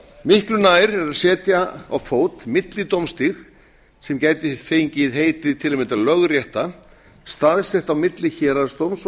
miklu nær er að setja á fót millidómstig sem gæti fengið heitið lögrétta staðsett á milli héraðsdóms og